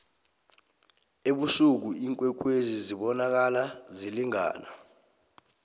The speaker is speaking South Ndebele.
ebusuku iinkwekwezi zibonakala zilingana